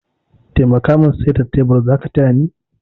Taimaka min saita tebur, zaka tayani?